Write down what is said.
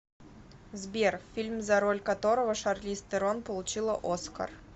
сбер фильм за роль которого шарлиз террон получила оскар